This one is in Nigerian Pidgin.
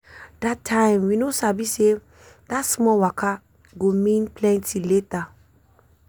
that time we no sabi say that small waka go mean plenty later.